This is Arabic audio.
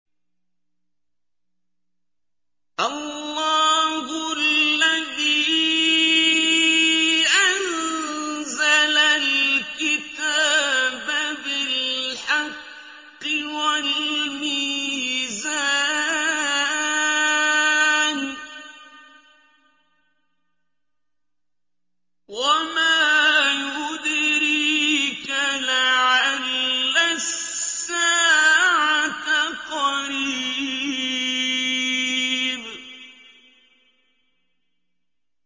اللَّهُ الَّذِي أَنزَلَ الْكِتَابَ بِالْحَقِّ وَالْمِيزَانَ ۗ وَمَا يُدْرِيكَ لَعَلَّ السَّاعَةَ قَرِيبٌ